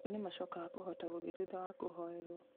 acio nĩmacokaga kũhota gũthiĩ thutha wa kũhoerwo